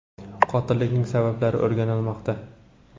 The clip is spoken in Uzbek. Qotillikning sabablari o‘rganilmoqda.